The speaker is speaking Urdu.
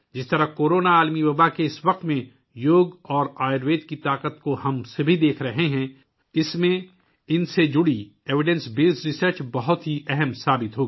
کورونا عالمی وباء کے اس وقت میں ، جس طرح ہم سب یوگا اور آیوروید کی طاقت کو دیکھ رہے ہیں، ان سے متعلق شواہد پر مبنی تحقیق بہت اہم ثابت ہوگی